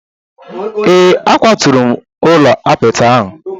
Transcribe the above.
Ee, akwaturu m ụlọ apịtị ahụ.